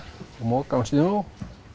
moka snjó